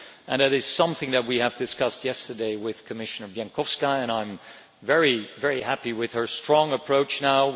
That is something that we have discussed yesterday with Commissioner Bieńkowska and I am very happy with her strong approach now.